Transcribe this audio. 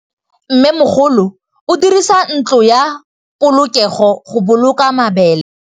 Mmêmogolô o dirisa ntlo ya polokêlô, go boloka mabele.